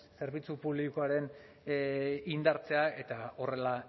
zerbitzu publikoaren indartzea eta horrela